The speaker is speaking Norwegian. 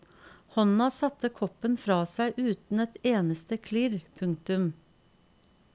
Hånda satte koppen fra seg uten et eneste klirr. punktum